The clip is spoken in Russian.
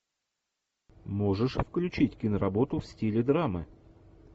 можешь включить киноработу в стиле драмы